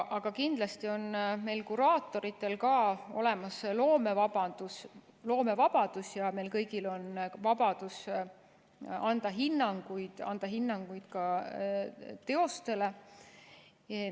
Aga kindlasti on meie kuraatoritel olemas loomevabadus ja meil kõigil on vabadus anda hinnanguid, anda hinnanguid ka teostele.